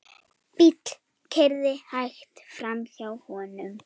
Bíll keyrði hægt framhjá honum.